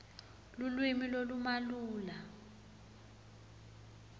lulwimi lolumalula